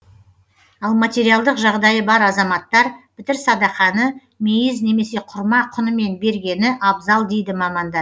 ал материалдық жағдайы бар азаматтар пітір садақаны мейіз немесе құрма құнымен бергені абзал дейді маманда